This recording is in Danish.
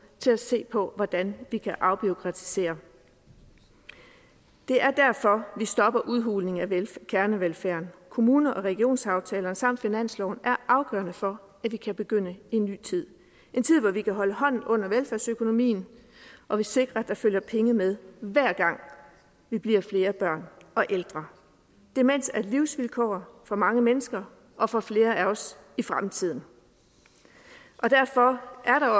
til at se på hvordan vi kan afbureaukratisere det er derfor vi stopper udhulingen af kernevelfærden kommune og regionsaftalerne samt finansloven er afgørende for at vi kan begynde en ny tid en tid hvor vi kan holde hånden under velfærdsøkonomien og vi sikrer at der følger penge med hver gang vi bliver flere børn og ældre demens er et livsvilkår for mange mennesker og for flere af os i fremtiden og derfor er